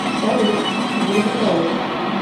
салют где обитаешь